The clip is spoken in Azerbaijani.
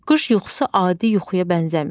Qış yuxusu adi yuxuya bənzəmir.